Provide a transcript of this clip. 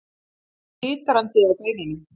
Hann var titrandi á beinunum.